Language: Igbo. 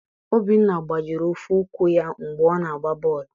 Obinna gbajiri ofu ụkwụ ya mgbe ọ na-agba bọọlụ.